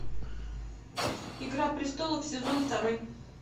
игра престолов сезон второй